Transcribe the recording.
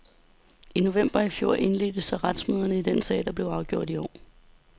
I november i fjor indledtes så retsmøderne i den sag, der blev afgjort i går.